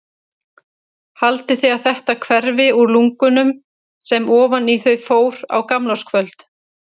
Haldið þið að þetta hverfi úr lungunum sem ofan í þau fór á gamlárskvöld?